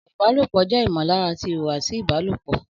Ọ̀rọ̀ ìbálòpọ̀ jẹ́ ìmọ̀lára àti ìhùwàsí ìbálòpọ̀